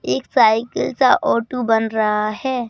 एक साइकिल सा ऑटू बन रहा है।